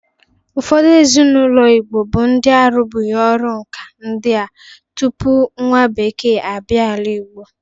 Ufọdụ ezinaụlọ Igbo bụ ndị na-arụbụrị ọrụ nka ndị a tupu nwa bekee a bịa ala Igbo.